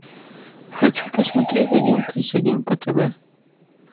хочу посмотреть один плюс один по тв